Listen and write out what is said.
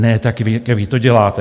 Ne tak, jak vy to děláte.